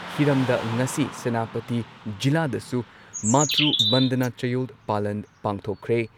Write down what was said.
ꯍꯤꯔꯝꯗ ꯉꯁꯤ ꯁꯦꯅꯥꯄꯇꯤ ꯖꯤꯂꯥꯗꯁꯨ ꯃꯥꯇ꯭ꯔꯨ ꯕꯟꯗꯅꯥ ꯆꯌꯣꯜ ꯄꯥꯂꯟ ꯄꯥꯡꯊꯣꯛꯈ꯭ꯔꯦ꯫